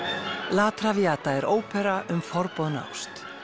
la er ópera um forboðna ást